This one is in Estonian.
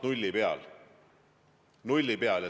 Nulli peal!